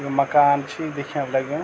यु मकान छी दिखेण लग्युं।